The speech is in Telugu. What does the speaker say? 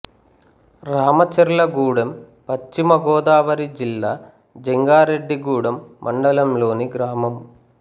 రామచర్లగూడెం పశ్చిమ గోదావరి జిల్లా జంగారెడ్డిగూడెం మండలం లోని గ్రామం